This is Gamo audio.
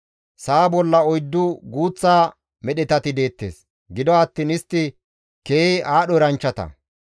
«Sa7a bolla oyddu guuththa medhetati deettes; gido attiin istti keehi aadho eranchchata.